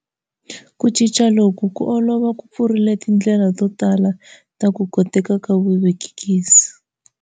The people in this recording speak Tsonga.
Ku cinca loku ko olova ku pfurile tindlela to tala ta ku koteka ka vuvekisi.